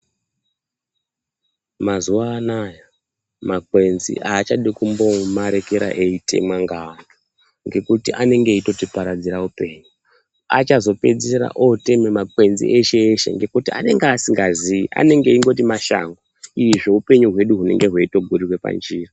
Mazuwa anaya makwenzi aachadi kumbomarekera eitemwa ngeanthu, ngekuti anenge eitotiparadzira upenyu. Achazopedzisira otema makwenzi eshe eshe ngekuti anenge asingazii, anenge achingoti mashango izvo upenyu hwedu hunenge hweitogurirwa panjira.